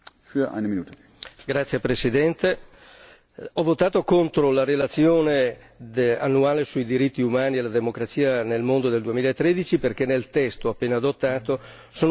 Ho votato contro la relazione annuale sui diritti umani e la democrazia nel mondo nel 2013 perché nel testo appena adottato sono presenti alcuni importanti concetti non condivisibili.